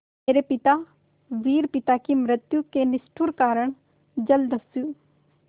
मेरे पिता वीर पिता की मृत्यु के निष्ठुर कारण जलदस्यु